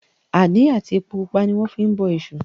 Àdí àti epo pupa ní wọ́n fi ń bọ èṣù